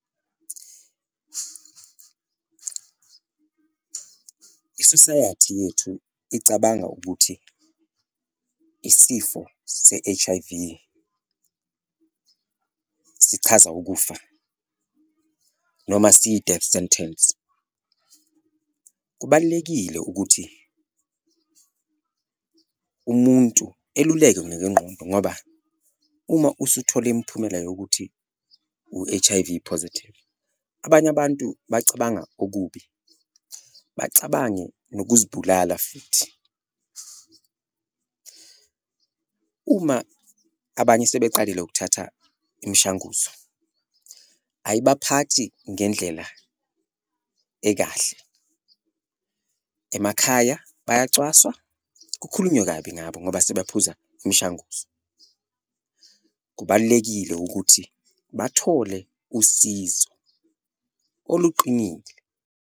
I-society yethu icabanga ukuthi isifo se-H_I_V sichaza ukufa noma siyi-death sentence, kubalulekile ukuthi umuntu elulekwe ngekwengqondo ngoba uma usuthole imiphumela yokuthi u-H_I_V positive abanye abantu bacabanga okubi, bacabange nokuzibulala futhi. Uma abanye sebeqalile ukuthatha imishanguzo ayibaphathi ngendlela ekahle, emakhaya bangacwaswa, kukhulunywe kabi ngabo ngoba sebaphuza imishanguzo, kubalulekile ukuthi bathole usizo oluqinile.